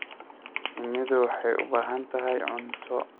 Shinnidu waxay u baahan tahay cunto.